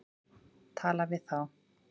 Tala við þá.